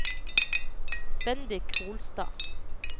Bendik Holstad